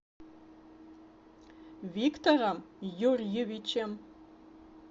виктором юрьевичем